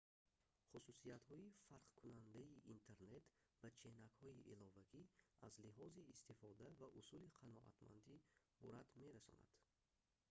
хусусиятҳои фарқкунандаи интернет ба ченакҳои иловагӣ аз лиҳози истифода ва усули қаноатмандӣ бурад мерасонанд